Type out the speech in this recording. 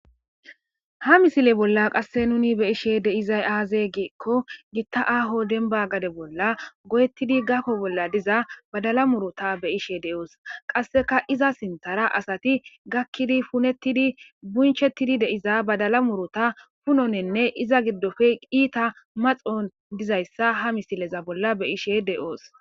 Ha misile bolla qasse nuni beyishe deizay aazee geekko gitta aho denba gade bolla go'ettidi gako bolla diza badala murota be ishe de'oos qasseka iza sinthara asati gakkidi punettidi bunchettidi deiza badala murota punonenne iza giddofe iita maxon dizayssa ha misileza bolla beyishe de'oos.